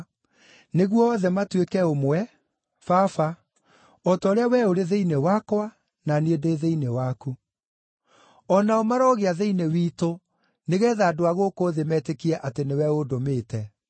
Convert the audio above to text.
nĩguo othe matuĩke ũmwe Baba, o ta ũrĩa we ũrĩ thĩinĩ wakwa na niĩ ndĩ thĩinĩ waku. O nao marogĩa thĩinĩ witũ nĩgeetha andũ a gũkũ thĩ metĩkie atĩ nĩwe ũndũmĩte.